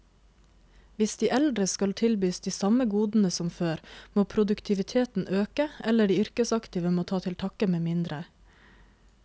Hvis de eldre skal tilbys de samme godene som før, må produktiviteten øke, eller de yrkesaktive må ta til takke med mindre.